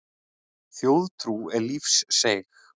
Þjóðtrú er lífseig.